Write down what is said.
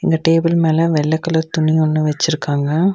இந்த டேபிள் மேல வெள்ள கலர் துணி ஒன்னு வெச்சிருக்காங்க.